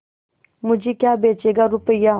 मुझे क्या बेचेगा रुपय्या